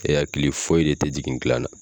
E hakili foyi de te jigin gilan na